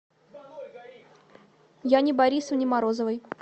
яне борисовне морозовой